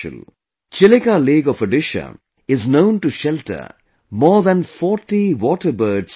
Chilika Lake of Odisha is known to shelter more than 40 waterbird species